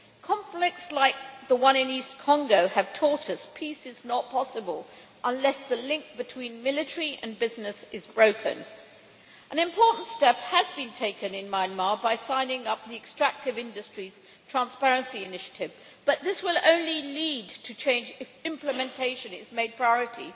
Conflicts like the one in East Congo have taught us that peace is not possible unless the link between military and business is broken. An important step has been taken in Myanmar with the signing of the extractive industries transparency initiative, but this will lead to change only if implementation is made a priority.